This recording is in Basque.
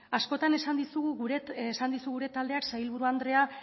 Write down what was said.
askotan esan dizu gure taldeak sailburu andrea